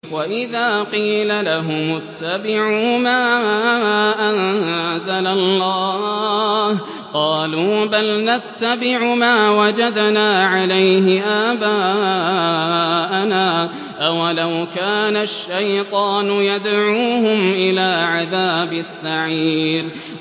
وَإِذَا قِيلَ لَهُمُ اتَّبِعُوا مَا أَنزَلَ اللَّهُ قَالُوا بَلْ نَتَّبِعُ مَا وَجَدْنَا عَلَيْهِ آبَاءَنَا ۚ أَوَلَوْ كَانَ الشَّيْطَانُ يَدْعُوهُمْ إِلَىٰ عَذَابِ السَّعِيرِ